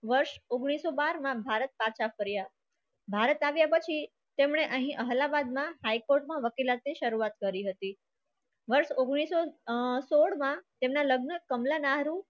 વર્ષ ઉંગ્નીસ સો બાર માં ભારત પાછા ફર્યા. ભારત આવ્યા પછી તેમણે અહીં અલ્હાબાદમાં high court માં વકીલાતે શરૂઆત કરી હતી. વર્ષ ઉંગ્નીસ સો સોળ માં તેમના લગ્ન કમલા નહેરુ